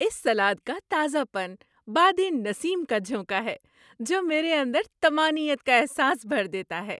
اس salad کا تازہ پن بادِ نسیم کا جھونکا ہے جو میرے اندر طمانینت کا احساس بھر دیتا ہے۔